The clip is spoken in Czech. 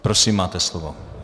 Prosím, máte slovo.